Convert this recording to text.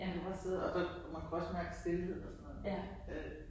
Man kunne også sidde og man kunne også mærke stilheden og sådan noget øh